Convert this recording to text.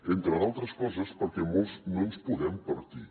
entre altres coses perquè molts no ens podem partir